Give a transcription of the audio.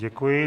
Děkuji.